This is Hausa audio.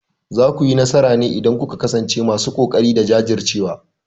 Za ku yi nasara ne idan kuka kasance masu kokari da jajircewa.